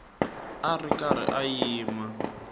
a ri karhi a yima